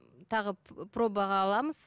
тағы пробаға аламыз